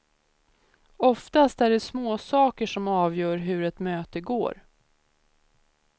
Oftast är det småsaker som avgör hur ett möte går.